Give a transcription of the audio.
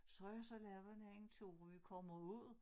Så har jeg så lavet en anden tur hvor vi kommer ud